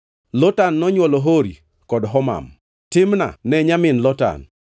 Lotan nonywolo: Hori kod Homam. Timna ne en nyamin Lotan.